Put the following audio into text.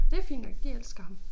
Det fint nok de elsker ham